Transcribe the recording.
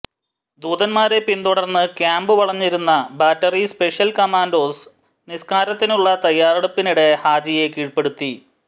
ദൂതന്മാരെ പിന്തുടർന്ന് ക്യാമ്പ് വളഞ്ഞിരുന്ന ബാറ്ററി സ്പെഷ്യൽ കമാൻഡോസ് നിസ്കാരത്തിനുള്ള തയ്യാറെടുപ്പിനിടെ ഹാജിയെ കീഴ്പ്പെടുത്തി